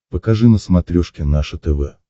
покажи на смотрешке наше тв